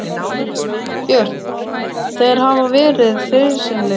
Björn: Þeir hafa verið friðsamlegir?